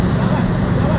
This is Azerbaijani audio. Bir dənə də var e.